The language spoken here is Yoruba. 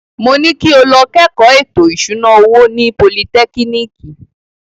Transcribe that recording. Mo ní kí o lọ kẹ́kọ̀ọ́ ètò ìṣúná owó ní politẹ́kínìkì.